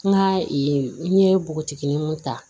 N ka n ye npogotigininw ta